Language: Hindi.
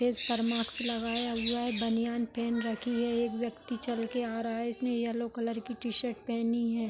फेस पर मास्क लगाया हुआ है बनियान पहन रखी है एक व्यक्ती चल के आ रहा है इसने येलो कलर कि टी शर्ट पहनी है ।